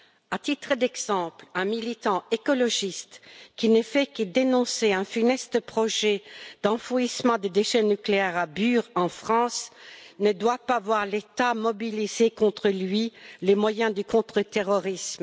À titre d'exemple, un militant écologiste qui ne fait que dénoncer un funeste projet d'enfouissement des déchets nucléaires à Bure, en France, ne doit pas voir l'État mobiliser contre lui les moyens du contre terrorisme.